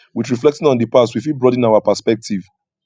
with reflecting on di past we fit broaden our perspective